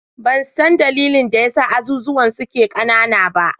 Ban san dalilin da ya sa azuzuwan suke ƙanana ba.